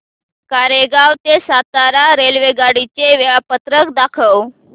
कोरेगाव ते सातारा रेल्वेगाडी चे वेळापत्रक दाखव